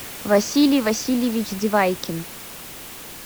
василий васильевич девайкин